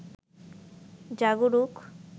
জাগরুক